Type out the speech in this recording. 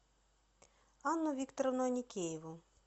анну викторовну аникееву